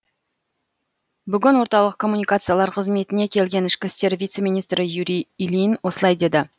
бүгін орталық коммуникациялар қызметіне келген ішкі істер вице министрі юрий ильин осылай деді